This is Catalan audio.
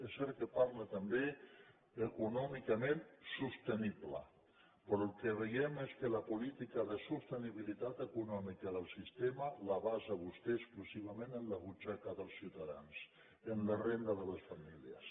és cert que parla també d’ econòmicament sostenible però el que veiem que és que la política de sostenibilitat econòmica del sistema la basa vostè exclusivament en la butxaca dels ciutadans en la renda de les famílies